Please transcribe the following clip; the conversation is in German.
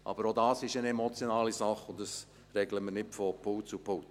Auch das ist eine emotionale Sache, und das regeln wir nicht von Pult zu Pult.